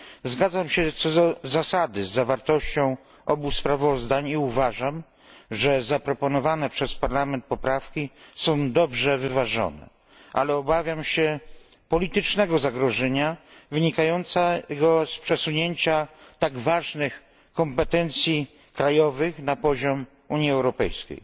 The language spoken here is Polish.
Zgadzam się co do zasady z treścią obu sprawozdań i uważam, że zaproponowane przez Parlament poprawki są dobrze wyważone, ale obawiam się politycznego zagrożenia wynikającego z przesunięcia tak ważnych kompetencji krajowych na poziom Unii Europejskiej.